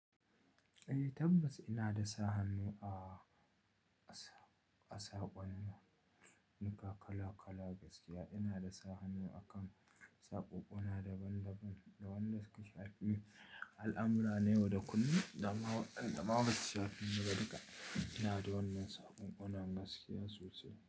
Eh tabbas ina da sa hannu a, a saƙonninuka kala kala gaskiya. Ina da sa hannu akan saƙonƙona daban daban, da wanda suka shafi. Alamura na yau da kullum dama wadanda ma basu shafe su ba. Ina da wannan saƙonƙona gaskiya sosai.